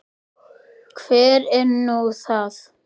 Hver er nú það?